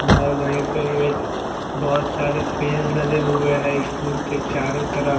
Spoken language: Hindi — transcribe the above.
बाहर वहीं पर एक बहोत सारे पेड़ लगे हुए हैं स्कूल के चारों तरफ--